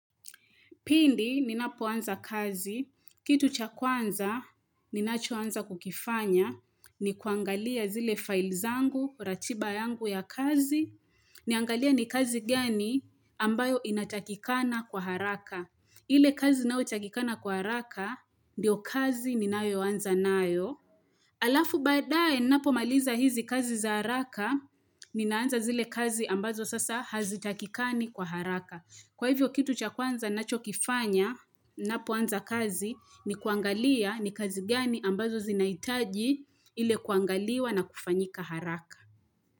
Pindi, ninapoanza kazi, kitu cha kwanza, ninachoanza kukifanya, ni kuangalia zile files zangu, ratiba yangu ya kazi, niangalie ni kazi gani ambayo inatakikana kwa haraka. Ile kazi inayotakikana kwa haraka, ndiyo kazi ninayoanza nayo. Alafu baadaye, ninapomaliza hizi kazi za haraka, ninaanza zile kazi ambazo sasa hazitakikani kwa haraka. Kwa hivyo kitu cha kwanza nachokifanya ninapoanza kazi ni kuangalia ni kazi gani ambazo zinahitaji ile kuangaliwa na kufanyika haraka.